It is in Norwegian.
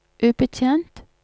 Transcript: ubetjent